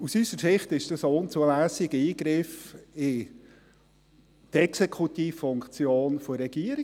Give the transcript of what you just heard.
Aus unserer Sicht ist dies ein unzulässiger Eingriff in die Exekutivfunktion der Regierung.